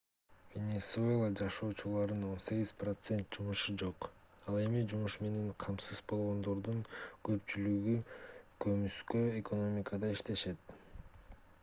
венесуэла жашоочуларынын 18% жумушу жок ал эми жумуш менен камсыз болгондордун көпчүлүгү көмүскө экономикада иштешет